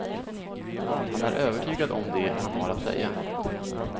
Han är övertygad om det han har att säga.